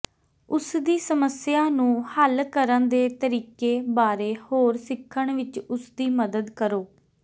ਉਸਦੀ ਸਮੱਸਿਆ ਨੂੰ ਹੱਲ ਕਰਨ ਦੇ ਤਰੀਕੇ ਬਾਰੇ ਹੋਰ ਸਿੱਖਣ ਵਿੱਚ ਉਸਦੀ ਮਦਦ ਕਰੋ